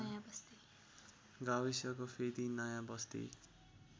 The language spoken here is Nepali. गाविसको फेदि नयाँबस्ती